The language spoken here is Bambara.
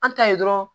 An ta ye dɔrɔn